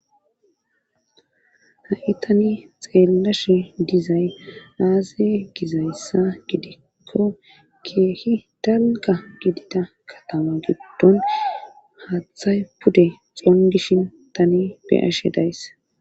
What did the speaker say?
ha7i tani xeellashe dizay aaze gizayssa gidikko keehi dalga gidida katama giddon haaththay pude xongishin tani be ashe days